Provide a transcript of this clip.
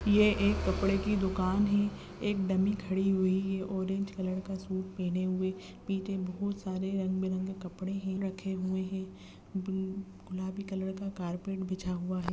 ये एक कपड़े की दुकान है। एक डमी खड़ी हुई है ऑरेंज कलर का शूट पहने हुए पीछे बहुत सारे रंग बिरंगे कपड़े हैं रखे हुए है ब्लू गुलाबी कलर का कारपेट बिछा हुआ है।